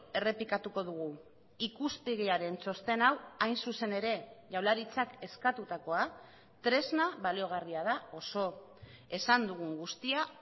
errepikatuko dugu ikuspegiaren txosten hau hain zuzen ere jaurlaritzak eskatutakoa tresna baliagarria da oso esan dugun guztia